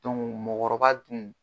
mɔgɔkɔrɔba tun